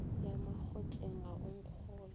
ya makgotleng ga o nkgolwe